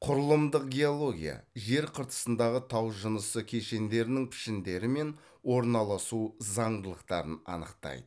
құрылымдық геология жер қыртысындағы тау жынысы кешендерінің пішіндері мен орналасу заңдылықтарын анықтайды